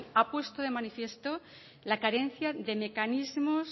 ha puesto de manifiesto la carencia de mecanismos